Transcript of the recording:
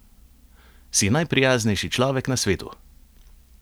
Si najprijaznejši človek na svetu!